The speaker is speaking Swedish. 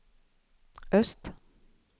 öst